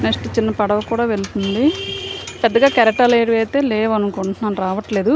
Next ఇక్కడ ఒక చిన్న పడవ వెళ్తుంది. పెద్దగా కెరటాలు ఏమి లేవు అనుకుంటానను. రావట లేదు.